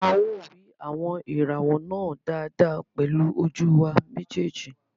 A ó rí àwọn ìràwọ̀ náà dáadáa pẹ̀lú ojú wa méjèèjì